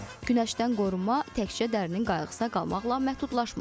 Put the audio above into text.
Günəşdən qorunma təkcə dərinin qayğısına qalmaqla məhdudlaşmır.